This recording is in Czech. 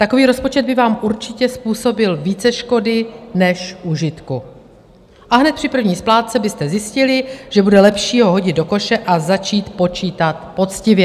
Takový rozpočet by vám určitě způsobil více škody než užitku a hned při první splátce byste zjistili, že bude lepší ho hodit do koše a začít počítat poctivě.